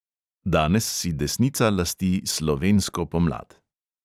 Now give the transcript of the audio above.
Danes si desnica lasti "slovensko pomlad".